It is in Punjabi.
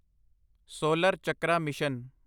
solar chakra mission